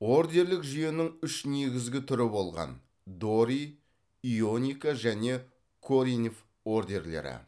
ордерлік жүйенің үш негізгі түрі болған дори ионика және коринф ордерлері